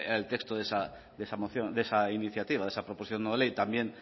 era el texto de esa moción de esa iniciativa de esa proposición no ley también